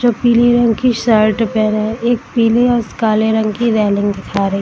जो पीली रंग की शर्ट पहना है एक पीली और काले रंग की रेलिंग दिखा रही है ।